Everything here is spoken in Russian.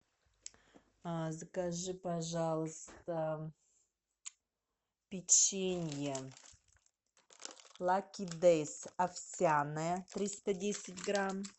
закажи пожалуйста печенье лаки дейс овсяное триста десять грамм